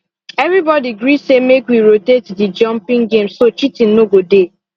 everybody gree say make we rotate the jumping game so cheating no go dey